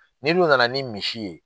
N'i dun nana ni misi ye.